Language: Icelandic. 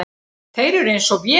Þeir eru eins og vél.